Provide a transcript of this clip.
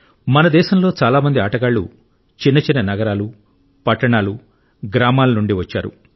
మన దేశంలో చాలా మంది ఆటగాళ్ళు చిన్న చిన్న నగరాలు పట్టణాలు గ్రామాల నుండి వచ్చారు